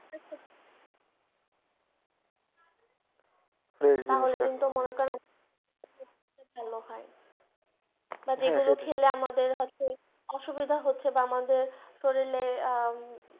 তাহলে কিন্তু মনে করেন ভালো হয় বা যেই গুলো খেলে আমাদের হচ্ছে অসুবিধা হচ্ছে বা আমাদের শরীরে